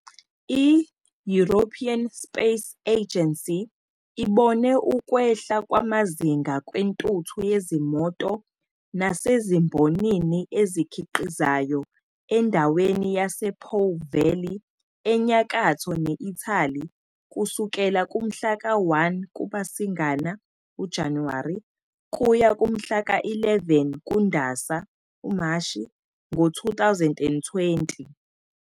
I-European Space Agency ibone ukwehla kwamazinga kwentuthu yezimoto nasezimbonini ezikhiqizayo endaweni yase-Po Valley enyakatho ne-Italy kusukela kumhla ka-1 kuMasingana, Januwari, kuya kumhla ka-11 kuNdasa, Mashi, 2020.